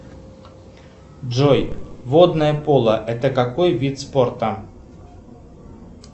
джой водное поло это какой вид спорта